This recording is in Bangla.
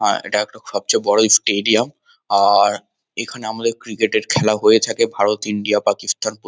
আ এটা একটা সবচেয়ে বড় স্টেডিয়াম আর এখানে আমাদের ক্রিকেট এর খেলা হয়ে থাকে ভারতইন্ডিয়া পাকিস্তান প্রতি।